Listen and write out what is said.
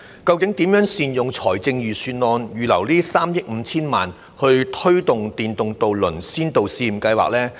究竟應如何善用財政預算案預留的3億 5,000 萬元推行試驗計劃呢？